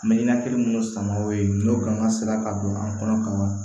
Mɛ na kelen minnu sama o ye n'o kan ka sira ka don an kɔnɔ ka wa